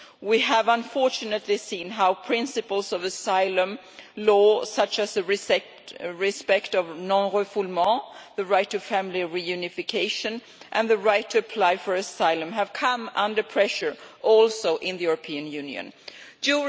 We have unfortunately seen how principles of asylum law, such as the respect of non refoulement, the right to family reunification and the right to apply for asylum have come under pressure in the European Union as well.